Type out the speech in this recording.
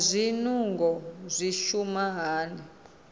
naa zwinungo zwi shuma hani